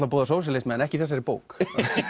að boða sósíalisma en ekki í þessari bók